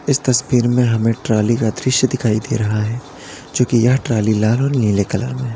इस तस्वीर में हमें ट्राली का दृश्य दिखाई दे रहा है जोकि यह ट्राली लाल और नीले कलर में है।